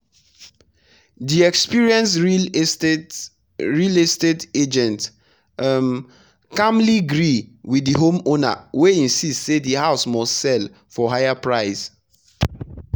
the experienced real estate real estate agent um calmly gree with the homeowner wey insist say the house must sell for higher price.